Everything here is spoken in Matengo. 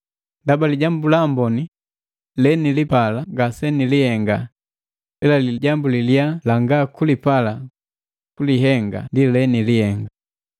Ndaba lijambu laamboni lenilipala ngase nilihenga, ila lijambu la liyaa langa kupala kulihenga ndi lenilihenga.